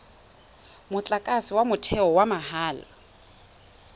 motlakase wa motheo wa mahala